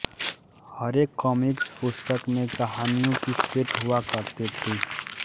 हरेक काॅमिक्स पुस्तक में कहानियों की सेट हुआ करती थी